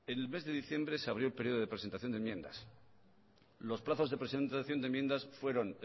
en el mes de diciembre se abrió el periodo de presentación de enmiendas los plazos de presentación de enmiendas fueron